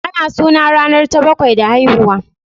Ana suna ranar ta bakwai da haihuwa